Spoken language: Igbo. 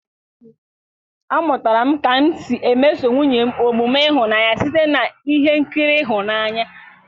A mụtara m ka m si emeso nwunye m omume ịhụnanya site na ihe nkiri ịhụnanya.